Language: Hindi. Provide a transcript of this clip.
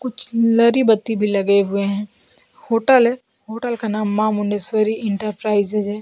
कुछ लरी बत्ती भी लगे हुए हैं होटल है होटल का नाम मां मुंडेश्वरी इंटरप्राइजेज है।